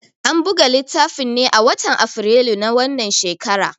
An buga littafin ne a watan Afrilu na wannan shekara.